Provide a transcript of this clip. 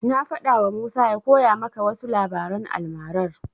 Na faɗawa Musa ya koya maka wasu labaran almarar.